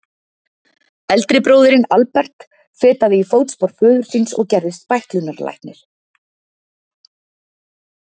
Eldri bróðirinn, Albert, fetaði í fótspor föður síns og gerðist bæklunarlæknir.